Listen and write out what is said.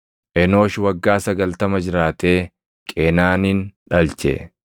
Enoosh waggaa 90 jiraatee Qeenaanin dhalche.